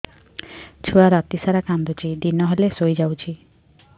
ଛୁଆ ରାତି ସାରା କାନ୍ଦୁଚି ଦିନ ହେଲେ ଶୁଇଯାଉଛି